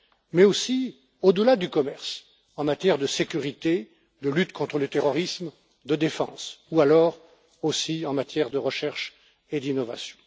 mais aussi au delà du commerce, en matière de sécurité, de lutte contre le terrorisme et de défense ou encore en matière de recherche et d'innovation.